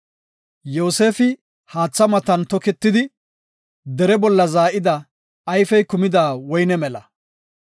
“Yoosefi haatha matan toketidi, dere bolla zaa7ida, ayfey kumida woyne mela.